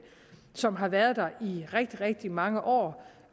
som har været der i rigtig rigtig mange år